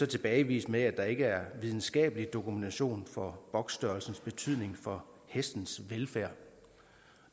tilbagevist med at der ikke er videnskabelig dokumentation for boksstørrelsens betydning for hestens velfærd